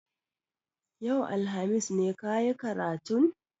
Yau, alhamis ne ka yi karatun?